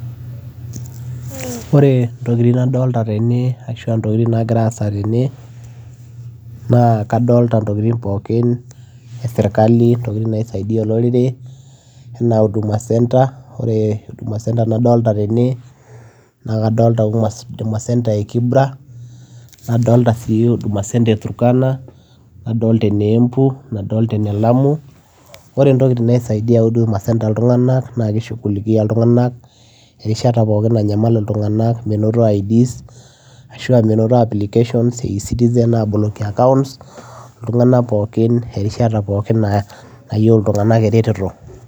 Oree entokii nagiraa aasa tene naa adolitaa intokitin ee sirkali intokitin naisaidia olorere enaa huduma centre enaa ene kibra turkana embu lamu oree entokii naisaidia huduma centre ilntunganak naa kisaidia ilntunganak enkataa pookin nanyamal menotoo [id] ashua e citizen accounts ilntunganak pookin erishata pookin nayieu oreteto